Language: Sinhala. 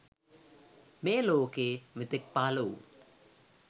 මේ ලෝකයේ මෙතෙක් පහළ වූ